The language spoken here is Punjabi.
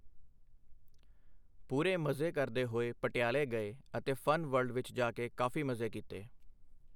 ਪੂਰੇ ਮਜ਼ੇ ਕਰਦੇ ਹੋਏ ਪਟਿਆਲੇ ਗਏ ਅਤੇ ਫਨ ਵਰਲਡ ਵਿਚ ਜਾ ਕੇ ਕਾਫੀ ਮਜ਼ੇ ਕੀਤੇ।